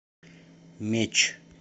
меч